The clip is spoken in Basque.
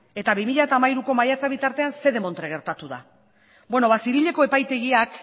eta bi mila hiruko maiatza bitartean zer demontre gertatu da beno zibileko epaitegiak